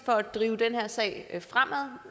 for at drive den her sag fremad